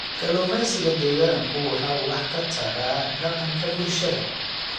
Kalluumeysiga deegaanku waxa uu wax ka taraa dhaqanka bulshada.